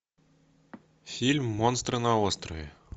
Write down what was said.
фильм монстры на острове